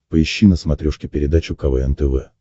поищи на смотрешке передачу квн тв